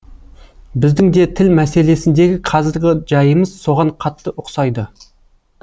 біздің де тіл мәселесіндегі қазіргі жайымыз соған қатты ұқсайды